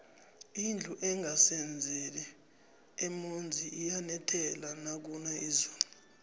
indlu engasezeli emonzi iyanethela nakuna izulu